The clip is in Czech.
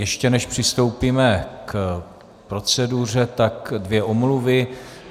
Ještě než přistoupíme k proceduře, tak dvě omluvy.